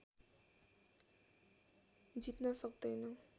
जित्न सक्दैन